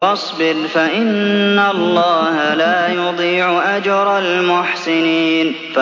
وَاصْبِرْ فَإِنَّ اللَّهَ لَا يُضِيعُ أَجْرَ الْمُحْسِنِينَ